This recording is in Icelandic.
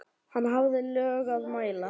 Hann hafði lög að mæla.